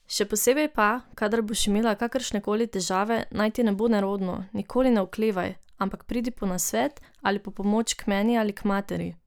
Še posebej pa, kadar boš imela kakršnekoli težave, naj ti ne bo nerodno, nikoli ne oklevaj, ampak pridi po nasvet ali po pomoč k meni ali k materi.